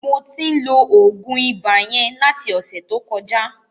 Mo tí ń lo oògùn ibà yẹn láti ọ̀sẹ̀ tó kọjá.